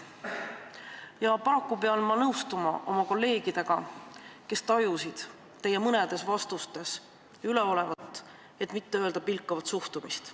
Ja paraku pean nõustuma oma kolleegidega, kes tajusid mõnes teie vastuses üleolevat, et mitte öelda pilkavat suhtumist.